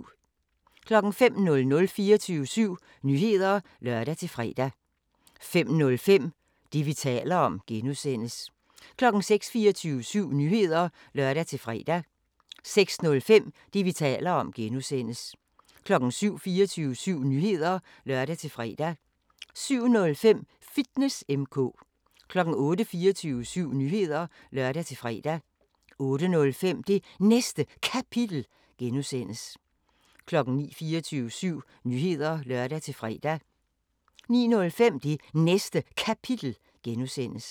05:00: 24syv Nyheder (lør-fre) 05:05: Det, vi taler om (G) 06:00: 24syv Nyheder (lør-fre) 06:05: Det, vi taler om (G) 07:00: 24syv Nyheder (lør-fre) 07:05: Fitness M/K 08:00: 24syv Nyheder (lør-fre) 08:05: Det Næste Kapitel (G) 09:00: 24syv Nyheder (lør-fre) 09:05: Det Næste Kapitel (G)